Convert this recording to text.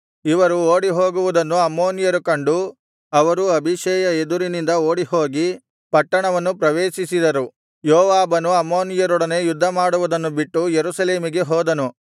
ಇವರು ಓಡಿಹೋಗುವುದನ್ನು ಅಮ್ಮೋನಿಯರು ಕಂಡು ಅವರೂ ಅಬೀಷೈಯ ಎದುರಿನಿಂದ ಓಡಿಹೋಗಿ ಪಟ್ಟಣವನ್ನು ಪ್ರವೇಶಿಸಿದರು ಯೋವಾಬನು ಅಮ್ಮೋನಿಯರೊಡನೆ ಯುದ್ಧ ಮಾಡುವುದನ್ನು ಬಿಟ್ಟು ಯೆರೂಸಲೇಮಿಗೆ ಹೋದನು